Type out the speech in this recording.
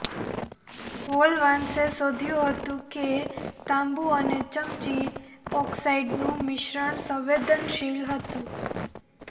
હોલવાચ્સે શોધ્યું હતું કે તાંબું અને ચમચી ઓક્સાઇડનું મિશ્રણ સંવેદનશીલ હતું